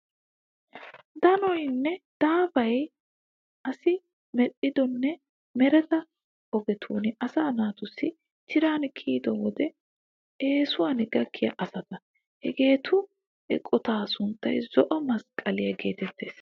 Danoy nne daafay asi medhdhido nne mereta ogetun asaa naatussi tiran kiyiyo wode eesuwan gakkiya asata. Hageetu eqotaa sunttay zo'o masqqaliya geetettes.